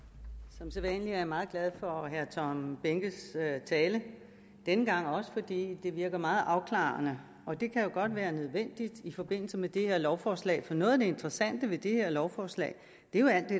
som sædvanlig er jeg meget glad for herre tom behnkes tale denne gang også fordi det virker meget afklarende og det kan jo godt være nødvendigt i forbindelse med det her lovforslag for noget af det interessante ved det her lovforslag